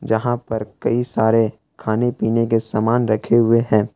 यहां पर कई सारे खाने पीने के समान रखे हुए हैं।